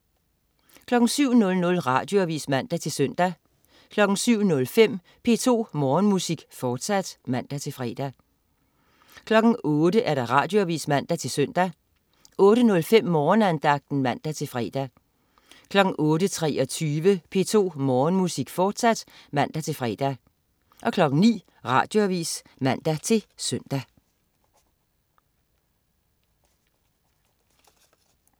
07.00 Radioavis (man-søn) 07.05 P2 Morgenmusik, fortsat (man-fre) 08.00 Radioavis (man-søn) 08.05 Morgenandagten (man-fre) 08.23 P2 Morgenmusik, fortsat (man-fre) 09.00 Radioavis (man-søn)